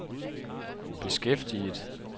beskæftiget